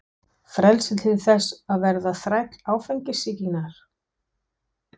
Frelsi til þess að verða þræll áfengissýkinnar?